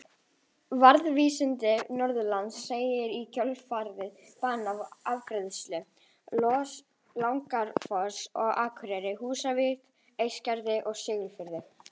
Verkalýðssamband Norðurlands lagði í kjölfarið bann á afgreiðslu Lagarfoss á Akureyri, Húsavík, Eskifirði og Siglufirði.